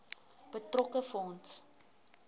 betrokke fonds